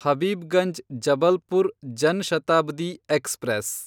Habibganj Jabalpur Jan Shatabdi express